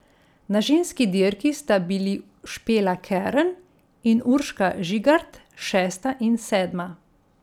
Na ženski dirki sta bili Špela Kern in Urška Žigart šesta in sedma.